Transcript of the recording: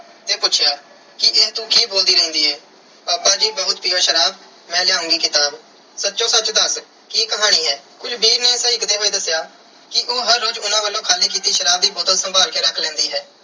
ਤੇ ਪੁੱਛਿਆ ਕਿ ਇਹ ਤੂੰ ਕੀ ਬੋਲਦੀ ਰਹਿੰਦੀ ਏ। ਪਾਪਾ ਜੀ ਬਹੁਤ ਪੀਓ ਸ਼ਰਾਬ। ਮੈਂ ਲਿਆਉਂਗੀ ਕਿਤਾਬ। ਸੱਚੋ ਸੱਚ ਦੱਸ ਕੀ ਕਹਾਣੀ ਏ। ਕੁਲਵੀਰ ਨੇ ਸਹਿਕਦੇ ਹੋਏ ਦੱਸਿਆ ਕਿ ਉਹ ਹਰ ਰੋਜ਼ ਉਹਨਾਂ ਵੱਲੋਂ ਖਾਲੀ ਕੀਤੀ ਸ਼ਰਾਬ ਦੀ ਬੋਤਲ ਸੰਭਾਲ ਕੇ ਰੱਖ ਲੈਂਦੀ ਹੈ